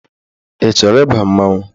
Ị chọrọ ịba mmanwụ?